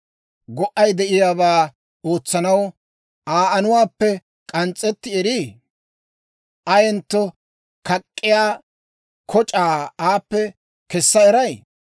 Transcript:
Go"ay de'iyaabaa ootsanaw Aa anuwaappe k'ans's'etti erii? Ayentto kak'k'iyaa koc'aa aappe kessa eray?